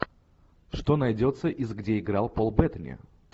что найдется из где играл пол беттани